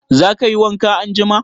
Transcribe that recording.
Za ka yi wanka anjima?